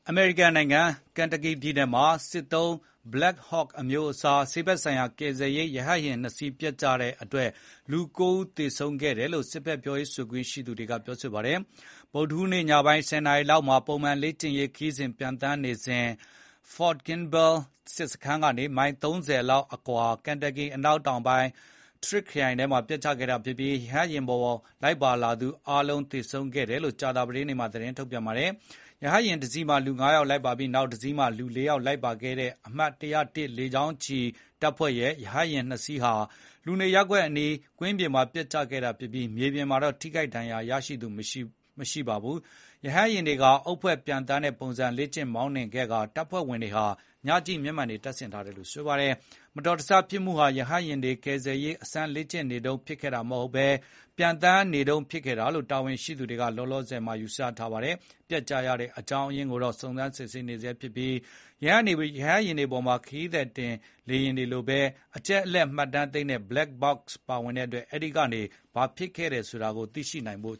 အမေရိကန်နိုင်ငံ ကန်တာကီပြည်နယ်မှာ စစ်တပ်သုံး Black Hawk အမျိုးအစား ဆေးဘက်ဆိုင်ရာ ကယ်ဆယ်ရေး ရဟတ်ယာဉ် ၂ စီး ပျက်ကျမှုမှာ လူ ၉ ဦး သေဆုံးခဲ့တယ်လို့ စစ်တပ် ပြောရေးဆိုခွင့်ရှိသူက ပြောပါတယ်။ ဗုဒ္ဓဟူးနေ့ ညပိုင်း ၁၀ နာရီ လောက်မှာ ပုံမှန်လေ့ကျင့်ရေးခရီးစဉ် ပျံသန်းနေတုန်း ဖော့ဒ်ကင်းဘဲလ် စစ်စခန်းကနေ မိုင် ၃၀ လောက်အကွာ ကန်တာကီ အနောက်တောင်ပိုင်း ထရစ်ခ်ခရိုင်ထဲ ပျက်ကျခဲ့လို့ ရဟတ်ယာဉ်ပေါ် လိုက်ပါလာသူ အားလုံး သေဆုံးခဲ့တယ်လို့ ကြာသာပတေးနေ့မှာ သတင်းထုတ်ပြန်ပါတယ်။ ရဟတ်ယာဉ်တစီးမှာ လူ ၅ ယောက် ပါပြီး နောက်တစီးမှာ လူ ၄ ယောက် လိုက်ပါလာတဲ့ အမှတ် ၁၀၁ လေကြောင်းချီ တပ်ဖွဲ့ရဲ့ ရဟတ်ယာဉ် ၂ စီးဟာ လူနေရပ်ကွက်အနီးက ကွင်းပြင်မှာ ပျက်ကျခဲ့တာဖြစ်ပြီး မြေပြင်မှာတော့ ထိခိုက်ဒဏ်ရာရသူ မရှိပါဘူး။ ရဟတ်ယာဉ်တွေဟာ အုပ်ဖွဲ့ ပျံသန်းတဲ့ပုံစံ လေ့ကျင့် မောင်းနှင်ခဲ့ကာ တပ်ဖွဲ့ဝင်တွေဟာ ညကြည့်မျက်မှန်တွေ တပ်ဆင်ထားတယ်လို့ ဆိုပါတယ်။ ဒီ မတော်တဆဖြစ်မှုဟာ ရဟတ်ယာဉ်တွေ ကယ်ဆယ်ရေး အစမ်း လေ့ကျင်နေတုန်း ဖြစ်ခဲ့တာ မဟုတ်ဘဲ ပျံသန်းနေတုန်း ဖြစ်ခဲ့တာလို့ တာဝန်ရှိသူတွေက လောလောဆယ် ယူဆထားပါတယ်။ ပျက်ကျရတဲ့ အကြောင်းအရင်းကိုတော့ စုံစမ်းစစ်ဆေးနေဆဲ ဖြစ်ပြီး ရဟတ်ယာဉ်တွေပေါ်မှာ ခရီးသည်တင် လေယာဉ်တွေလိုပဲ အချက်အလက်မှတ်တမ်း သိမ်းဆည်းတဲ့ Black Box တွေ ပါဝင်လို့ အဲဒါကနေ ဘာဖြစ်ခဲ့တယ်ဆိုတာ သိလာနိုင်ဖို့